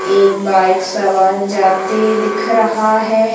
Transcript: एक बाइक सवार जाते दिख रहा है।